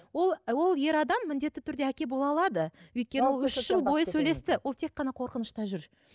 ол ол ер адам міндетті түрде әке бола алады өйткені үш жыл бойы сөйлесті ол тек қана қорқынышта жүр